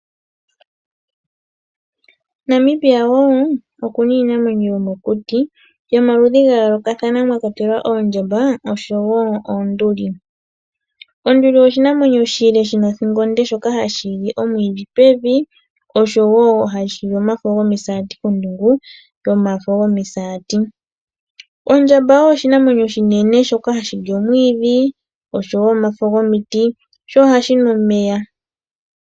Namibia wo okuna iinamwenyo yomokuti yomaludhi ga yoolokathana mwa kwatelwa oondjamba osho wo oonduli. Onduli oshinamwenyo oshile shi na othingo onde shoka hashi li omwiidhi pevi osho wo hashi li omafo gomisaati kondungu yomisati. Odjamba oyo oshinamwenyo oshinene shoka ha shi li omwiidhi osho wo omafo gomiti sho ohashi nu omeya.